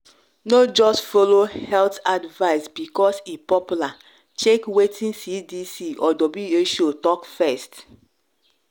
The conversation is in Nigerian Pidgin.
no just follow health advice because e popular — check wetin cdc or who talk first.